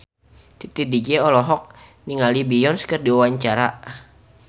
Titi DJ olohok ningali Beyonce keur diwawancara